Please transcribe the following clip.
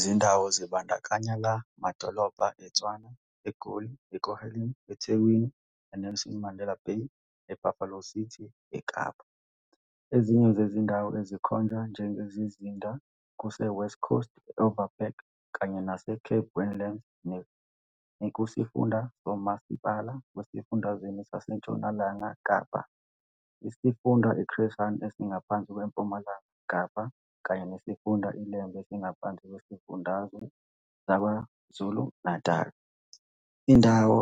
Zindawo zibandakanya la madolobha, eTshwane eGoli Ekurhuleni eThekwini e-Nelson Mandela Bay e-Buffalo City eKapa. Ezinye zezindawo ezikhonjwe njengezizinda kuse-West Coast, e-Overberg kanye nase-Cape Winelands nekusifunda somasipala wasesifundazweni saseNtshonalanga Kapa, isifunda i-Chris Hani esingaphansi kweMpumalanga Kapa, kanye nesifunda iLembe esingaphansi kwesifundazwe saKwaZulu-Natali. Indawo